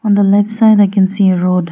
On the left side I can see a road.